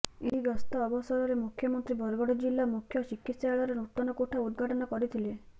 ଏହି ଗସ୍ତ ଅବସରରେ ମୁଖ୍ୟମନ୍ତ୍ରୀ ବରଗଡ଼ ଜିଲ୍ଲା ମୁଖ୍ୟ ଚିକିତ୍ସାଳୟର ନୂତନ କୋଠା ଉଦ୍ଘାଟନ କରିଥିଲେ